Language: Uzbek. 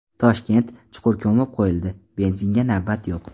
Toshkent: chuqur ko‘mib qo‘yildi, benzinga navbat yo‘q.